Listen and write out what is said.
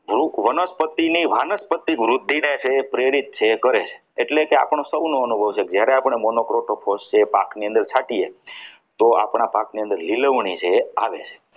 વૃક વનસ્પતિની વાનસ્પતિક વૃદ્ધિને છે એ પ્રેરિત કરે છે એટલે કે આપણો સૌનો અનુભવ છે કે જ્યારે આપણે monoprotrophos એ પાક ની અંદર છાંટીએ તો આપણા પાકની અંદર નીલવણી છે એ આવે